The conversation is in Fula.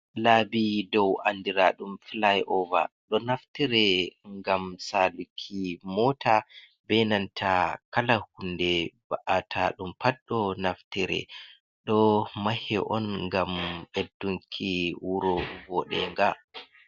Laabi dow ,anndiraɗum fulay ova, ɗo naftire ngam saluki moota benanta kala hunde ba’ateeɗum pat ,ɗo naftire, ɗo mahe on, ngam ɓeddunki wuro bodeenga.